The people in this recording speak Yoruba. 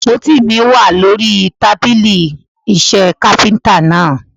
Àpótí mi wà lórí tábílì iṣẹ́ Kápẹ́ńtà náà.